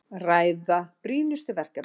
Ræða brýnustu verkefnin